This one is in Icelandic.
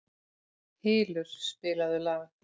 Hylur, spilaðu lag.